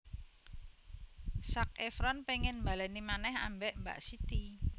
Zac Efron pengen mbaleni maneh ambek Mbak Siti